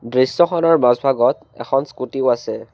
দৃশ্যখনৰ মাজভাগত এখন স্কুটী ও আছে।